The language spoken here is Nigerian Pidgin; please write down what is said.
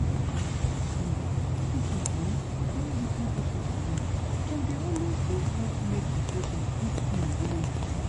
rest small. medicine hmmm join wetin patient believe dem dey always dey help make di patient quick heal wella.